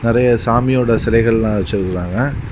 நறைய சாமியோட சிலைகள் எல்லாம் வெச்சி இருக்காங்க.